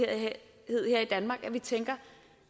her i danmark at vi tænker